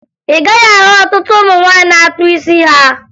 Ị gaghị ahụ ọtụtụ ụmụ nwaanyị na-akpụ isi ha